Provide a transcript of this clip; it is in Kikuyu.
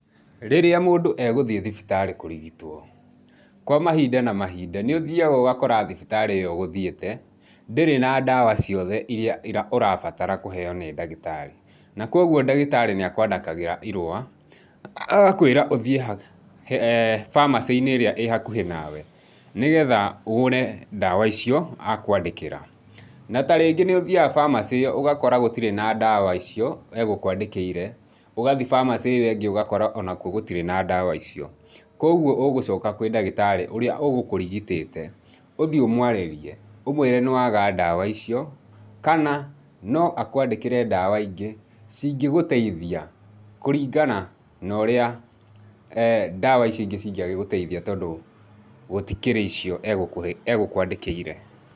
Rĩria mũndũ egũthiĩ thibitari kũrigitwo, kwa mahinda na mahinda nĩũthiaga ũgakora thibitari iyo ũgũthiĩte ndĩrĩ na ndawa ciothe iria ũrabatara kũheyo nĩ ndagĩtarĩ, na kwoguo ndagĩtarí nĩakwandĩkagĩra irua agakwĩra ũthie bamacĩ-inĩ ĩria ĩ hakũhĩ nawe nĩgetha ũgũre ndawa icio akwandĩkĩra, na tarĩngĩ nĩ ũthiyaga bamacĩ ĩyo ũgakora gũtire na ndawa icio egũkwandĩkĩire, ũgathiĩ bamacĩ ĩyo ĩngĩ ũgakora onakwo gũtirĩ na ndawa icio, kwoguo ũgũcoka kwĩ ndagĩtarĩ ũria ũgũkũrigitĩte, ũthiĩ ũmwarĩrie, ũmwĩre nĩwaga ndawa icio, kana no akwandĩkĩre ndawa ingĩ cingĩgũteithia kũringana na ũrĩa ndawa icio ingĩ cingĩagĩgũtethia tondũ gũtikĩrĩ icio egũkũandĩkĩire.